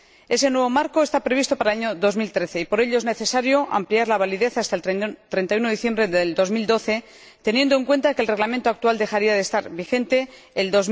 Ese nuevo marco está previsto para el año 2013, y por ello es necesario ampliar su validez hasta el 31 de diciembre de 2012, teniendo en cuenta que el Reglamento actual dejaría de estar vigente en